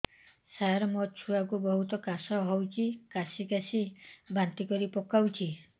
ସାର ମୋ ଛୁଆ କୁ ବହୁତ କାଶ ହଉଛି କାସି କାସି ବାନ୍ତି କରି ପକାଉଛି